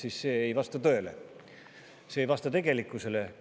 Aga see ei vasta tõele, see ei vasta tegelikkusele.